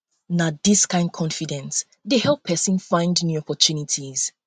na dis kain confidence dey help pesin find help pesin find new opportunities